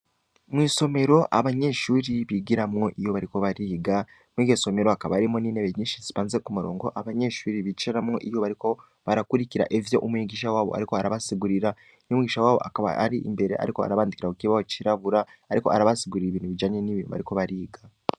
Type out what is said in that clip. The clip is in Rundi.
Mw'isomero abanyeshuri bigiramwo iyu bariko bariga mwigesomero akaba arimo n'inebe nyinshi sipanze ku murongo abanyeshuri biciramwo iyoubariko barakurikira evyo umwigisha wabo, ariko arabasigurira ny'umwigisha wabo akaba ari imbere, ariko arabandikira ku kibawo cirabura, ariko arabasigurira ibintu bijanye n'ibinmu bariko bariga.